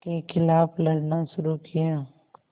के ख़िलाफ़ लड़ना शुरू किया